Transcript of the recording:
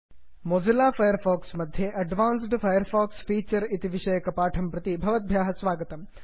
Mozilla Firefox मध्ये advanced Firefox feature इति विषयकपाठं प्रति भवद्भ्यः स्वागतम्